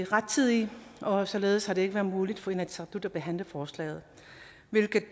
rettidigt og således har det ikke været muligt for inatsisartut at behandle forslaget